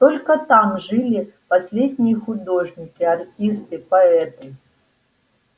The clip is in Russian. только там жили последние художники артисты поэты